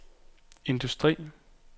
industri